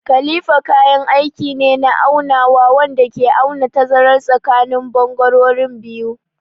Kalifa kayan aiki ne na aunawa wanda ke auna tazarar tsakanin bangarorin biyu.